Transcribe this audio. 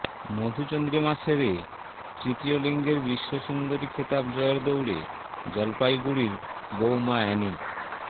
মধুচন্দ্রিমা সেরে তৃতীয় লিঙ্গের বিশ্বসুন্দরী খেতাব জয়ের দৌড়ে জলপাইগুড়ির বৌমা অ্যানি